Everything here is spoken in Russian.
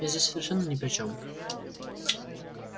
я здесь совершенно ни при чём